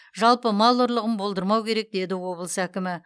жалпы мал ұрлығын болдырмау керек деді облыс әкімі